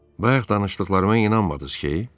Bayaq danışdıqlarıma inanmadız ki?